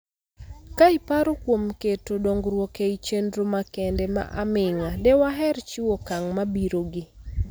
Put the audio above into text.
Ka iparo kuom keto dongruok ei chendro makende ma aming'a, dewaher chiwo okang mabiro gi